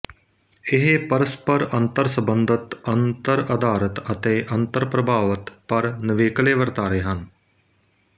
ਇਹ ਪਰਸਪਰ ਅੰਤਰਸੰਬੰਧਿਤ ਅੰਤਰਆਧਾਰਿਤ ਅਤੇ ਅੰਤਰਪ੍ਰਭਾਵਿਤ ਪਰ ਨਿਵੇਕਲੇ ਵਰਤਾਰੇ ਹਨ